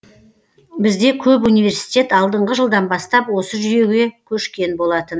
бізде көп университет алдыңғы жылдан бастап осы жүйеге көшкен болатын